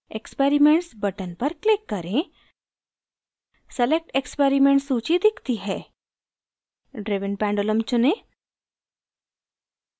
experiments button पर click करें select experiment सूची दिखती है driven pendulum चुनें